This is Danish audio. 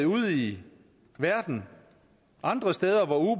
ude i verden